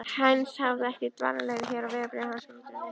Heinz hafði ekki dvalarleyfi hér og vegabréf hans var útrunnið.